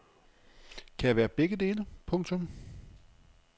Kan jeg være begge dele. punktum